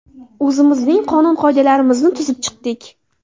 O‘zimizning qonun-qoidalarimizni tuzib chiqdik.